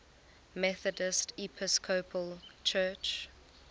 methodist episcopal church